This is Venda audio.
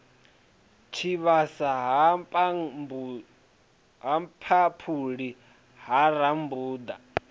tshivhasa ha mphaphuli ha rambuḓa